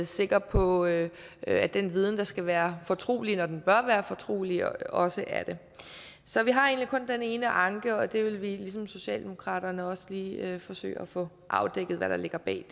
sikker på at at den viden der skal være fortrolig når den bør være fortrolig også er det så vi har egentlig kun den ene anke og det vil vi ligesom socialdemokraterne også lige forsøge at få afdækket hvad der ligger bag